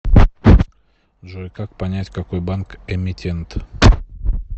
джой как понять какой банк эмитент